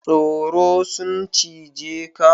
Tsoro sun cije ka?